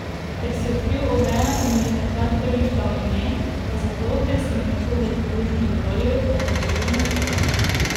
Ker si odkril Oveja in mu že takrat prvič dal ime, pa zato, ker si mi tako velikodušno dovolil, da nadaljujem zgodbo.